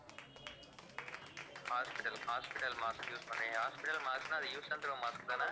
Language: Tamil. hospital~hospital mask use பண்ணி hospital mask ன்னா அது use and throw mask தான